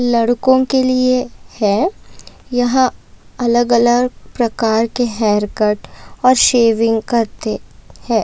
लड़को के लिए है यह अलग अलग प्रकारके हेअरकट और शेविंग करते है।